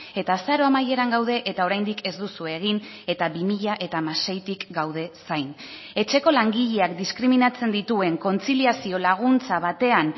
eta azaro amaieran gaude eta oraindik ez duzue egin eta bi mila hamaseitik gaude zain etxeko langileak diskriminatzen dituen kontziliazio laguntza batean